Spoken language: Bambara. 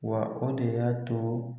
Wa o de y'a to.